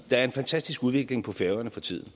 er en fantastisk udvikling på færøerne for tiden